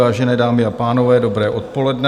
Vážené dámy a pánové, dobré odpoledne.